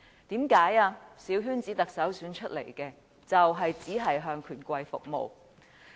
因為由小圈子選出的特首只會向權貴服務。